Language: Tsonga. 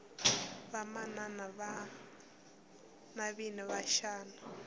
vamana navina va xana